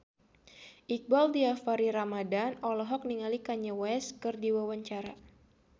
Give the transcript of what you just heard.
Iqbaal Dhiafakhri Ramadhan olohok ningali Kanye West keur diwawancara